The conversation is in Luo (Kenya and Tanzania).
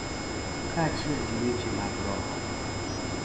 Kaachiel gi weche mag roho, .